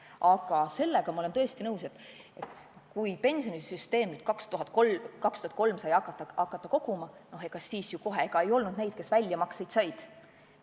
Aga sellega ma olen tõesti nõus, et kui 2003. aastal sai hakata sel moel raha koguma, ega siis kohe ei olnud neid, kes väljamakseid said.